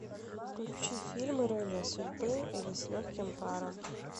включи фильм ирония судьбы или с легким паром